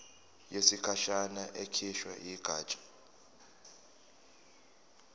yesikhashana ekhishwe yigatsha